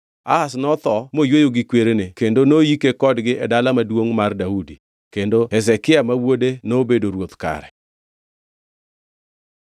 Ahaz notho moyweyo gi kwerene kendo noyike kodgi e Dala Maduongʼ mar Daudi. Kendo Hezekia ma wuode nobedo ruoth kare.